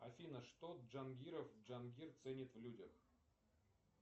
афина что джангиров джангир ценит в людях